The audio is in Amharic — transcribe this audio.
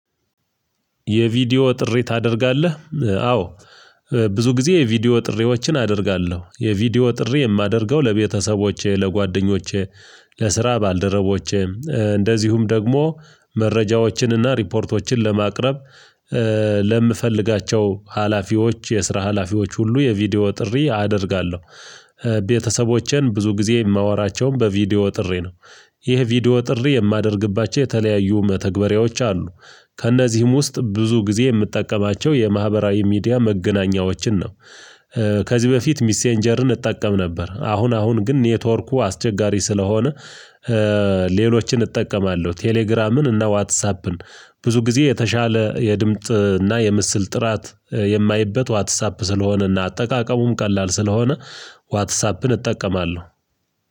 የቪዲዮ ጥሪ ታደርጋለህ? አዎ ብዙ ጊዜ የቪዲዮ ጥሪዎችን አደርጋለሁ የቪዲዮ ጥሪ የማደርገው ለቤተሰቦቼ፣ ለጓደኞቼ ለስራ ባልደረቦቼ፣ እንደዚሁም ደግሞ መረጃዎችንና ሪፖርቶችን ለማቅረብ፣ ለምፈልጋቸው ሀላፊዎች የስራ ሀላፊዎች ሁሉ የቪዲዮ ጥሪ አደርጋለሁ። ቤተሰቦቼን ብዙ ጊዜ የማወራቸውም በቪዲዮ ጥሪ ነው። ይህ ቪዲዮ ጥሬ የማደርግባቸው የተለያዩ መተግበሪያዎች አሉ። ከእነዚህም ውስጥ ብዙ ጊዜ የምጠቀማቸው የማህበራዊ ሚዲያ መገናኛዎችን ነው። ከዚህ በፊት ሚሴንጀርን እጠቀም ነበር። አሁን አሁን ግን ኔትወርኩ አስቸጋሪ ስለሆነ ሌሎችን እጠቀማለሁ ቴሌግራምን እና ዋትሳፕን። ብዙ ጊዜ የተሻለ የድምጽ እና የምስል ጥራት የማይበት ዋትሳፕ ስለሆነና አጠቃቀሙም ቀላል ስለሆነ ዋትሳፕን እጠቀማለሁ